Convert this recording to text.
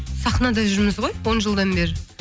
сахнада жүрміз ғой он жылдан бері